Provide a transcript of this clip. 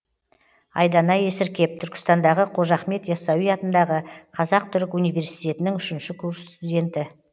айдана есіркеп түркістандағы қожа ахмет ясауи атындағы қазақ түрік университетінің үшінші курс студенті